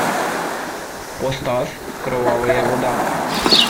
поставь кровавая вода